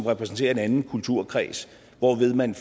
repræsenterer en anden kulturkreds hvorved man